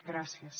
gràcies